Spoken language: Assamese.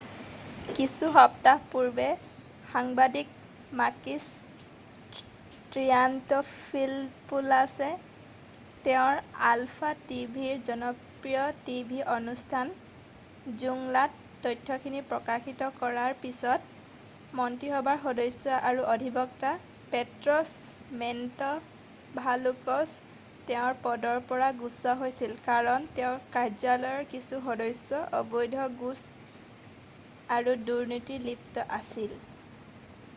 "কিছু সপ্তাহ পূৰ্বে সাংবাদিক মাকিছ ট্ৰিয়ান্তফিলপোলাছে তেওঁৰ আলফা টিভিৰ জনপ্ৰিয় টিভি অনুষ্ঠান "জোংলা""ত তথ্যখিনি প্ৰকাশিত কৰাৰ পিছত মন্ত্ৰীসভাৰ সদস্য আৰু অধিবক্তা পেট্ৰছ মেন্টভালোচক তেওঁৰ পদৰ পৰা গুচোৱা হৈছিল কাৰণ তেওঁৰ কাৰ্যালয়ৰ কিছু সদস্য অবৈধ ঘোচ আৰু দুৰ্নীতিত লিপ্ত আছিল।""